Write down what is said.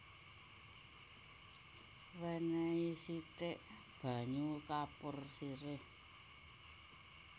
Wènèhi sithik banyu kapur sirih